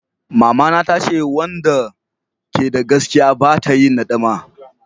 Mama ta ce wanda ta ke da gaskiya ba ta yin nadama